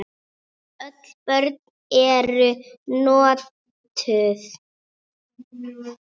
Öll brögð eru notuð.